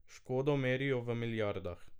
Škodo merijo v milijardah.